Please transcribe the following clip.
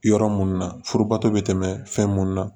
Yɔrɔ mun na furubato be tɛmɛ fɛn mun na